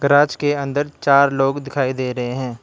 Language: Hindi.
राज के अंदर चार लोग दिखाई दे रहे हैं।